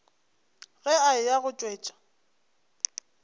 ge a eya go tšwetša